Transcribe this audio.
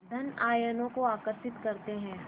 धन आयनों को आकर्षित करते हैं